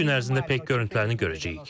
Bir-iki gün ərzində peyk görüntülərini görəcəyik.